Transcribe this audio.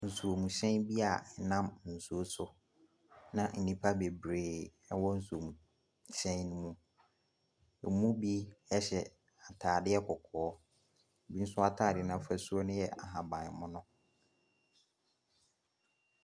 Nsuomhyɛn bi a ɛnam nsuo so, na nnipa bebree wɔ nsuomhyɛn no mu. Wɔn mu bu hyɛ atadeɛ kɔkɔɔ, bo nso atadeɛ no afasuo no yɛ ahabammono.